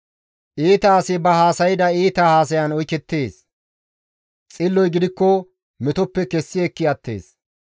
Iita asi ba haasayda iita haasayan oykettees; xilloy gidikko metoppe kessi ekki attees.